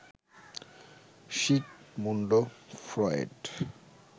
Sigmund Freud